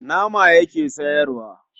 Nama yake sayarwa.